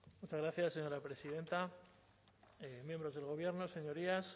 muchas gracias señora presidenta miembros del gobierno señorías